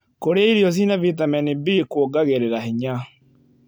Kũrĩa irio cia vĩtamenĩ B kũongagĩrĩra hinya